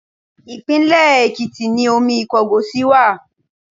Ìpínlẹ̀ Èkìtì ni omi Ìkọgòsì wà.